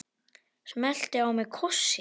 Smellti á mig kossi.